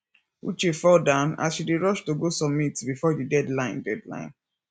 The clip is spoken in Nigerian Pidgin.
uche fall down as she dey rush to go submit before the deadline deadline